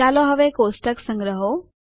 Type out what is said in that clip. ચાલો હવે કોષ્ટક સંગ્રહો